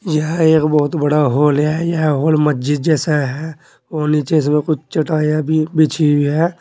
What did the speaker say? यह एक बहुत बड़ा हॉल है यह हॉल मस्जिद जैसा है और नीचे इसमें कुछ चटाइयां भी बिछी हुई है।